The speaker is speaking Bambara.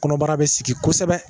Kɔnɔbara bɛ sigi kosɛbɛ.